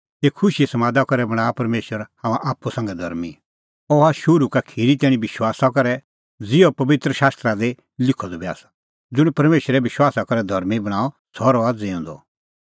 एऊ खुशीए समादा करै बणांआ परमेशर हाम्हां आप्पू संघै धर्मीं अह हआ शुरू का खिरी तैणीं विश्वासा करै ज़िहअ पबित्र शास्त्रा दी लिखअ द बी आसा सह ज़ुंण परमेशरै विश्वासा करै धर्मीं बणांअ सह रहणअ ज़िऊंदअ